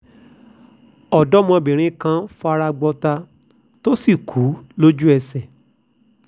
ọ̀dọ́mọbìnrin kan fara gbọ́tà tó sì kú lójú-ẹsẹ̀